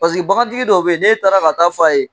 Paseke bagantigi dɔw bɛ yen, n'e taara ka t'a fɔ a ye